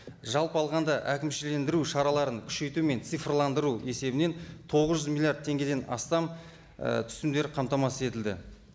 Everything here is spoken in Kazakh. жалпы алғанда әкімшілендіру шараларын күшейту мен цифрландыру есебінен тоғыз жүз миллиард теңгеден астам і түсімдер қамтамасыз етілді